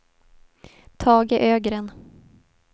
Tage Ögren